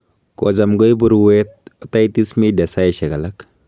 kocham koibu ruet Otitis media saishek alak